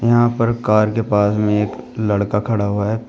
यहां पर कार के पास में एक लड़का खड़ा हुआ है।